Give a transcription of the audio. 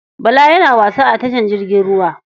Bala yana wasa a tashar jirgin ruwa.